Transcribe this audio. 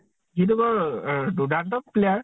সি টো বাৰু দুৰ্দান্তক player